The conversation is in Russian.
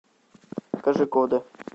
кожикоде